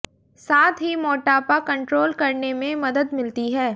साथ ही मोटापा कंट्रोल करने में मदद मिलती है